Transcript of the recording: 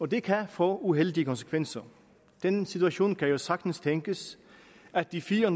det kan få uheldige konsekvenser den situation kan jo sagtens tænkes at de fire